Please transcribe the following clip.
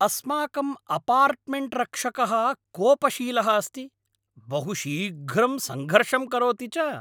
अस्माकम् अपार्टमेण्ट्रक्षकः कोपशीलः अस्ति, बहु शीघ्रं सङ्घर्षं करोति च।